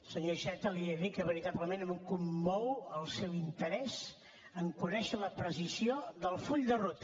senyor iceta li he dit que veritablement em commou el seu interès a conèixer la precisió del full de ruta